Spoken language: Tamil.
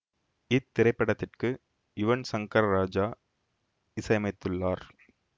இத்திரைப்படத்திற்கு யுவன் சங்கர் ராஜா இசையமைத்துள்ளார்